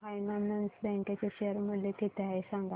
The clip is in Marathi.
एयू फायनान्स बँक चे शेअर मूल्य किती आहे सांगा